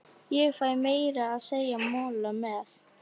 Ég fæ meira að segja mola með.